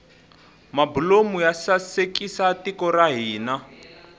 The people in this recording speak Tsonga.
mabulomu ya sasekisa tiko ra hina